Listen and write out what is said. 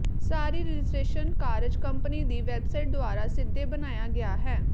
ਸਾਰੀ registration ਕਾਰਜ company ਦੀ website ਦੁਆਰਾ ਸਿੱਧੇ ਬਣਾਇਆ ਗਿਆ ਹੈ